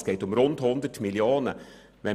Es geht um rund 100 Mio. Franken.